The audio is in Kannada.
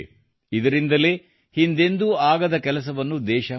ಇದರಿಂದಲೇ ಹಿಂದೆಂದೂ ಆಗದ ಕೆಲಸವನ್ನು ದೇಶ ಮಾಡಿದೆ